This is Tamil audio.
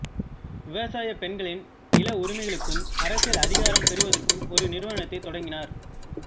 விவசாயப் பெண்களின் நிலஉரிமைகளுக்கும் அரசியல் அதிகாரம் பெறுவதற்கும் ஒரு நிறுவனத்தைத் தொடங்கினார்